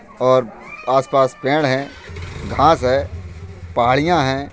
और आस-पास पेड़ हैं घास है पहाड़ियाँ हैं।